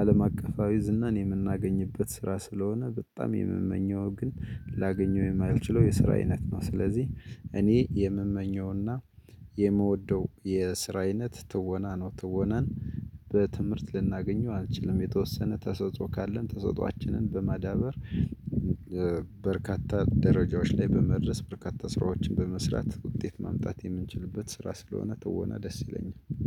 አለም አቀፋዊ ዝናን የምናገኝበት ስራ ስለሆነ። በጣም የምመኘው ግን ላገኘው የማይችለው የስራ አይነት ነው። ስለዚህ እኔ የምመኘውና የምወደው የስራ አይነት ትወና ነው። ትወናን በትምህርት ልናገኘው አንችልም የተወሰነ ተሰጥኦ ካለን ተሰጥኦአችንን በማዳበር። በርካታ ደረጃዎች ላይ በመድረስ በርካታ ስራዎችን በመስራት ውጤት ማምጣት የምንችልበት ስራ ስለሆነ ትወና ደስ ይለኛል